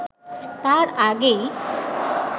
তার আগেই